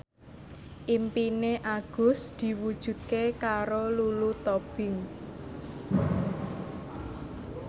impine Agus diwujudke karo Lulu Tobing